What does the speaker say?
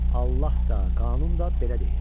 Allah da, qanun da belə deyir.